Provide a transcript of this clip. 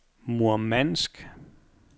Murmansk